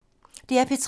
DR P3